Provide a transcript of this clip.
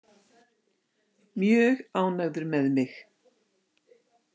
Mjög ánægður með mig.